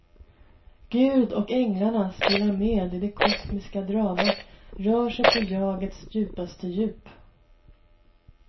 Gud och änglarna spelar med i det kosmiska dramat, rör sig på jagets djupaste djup.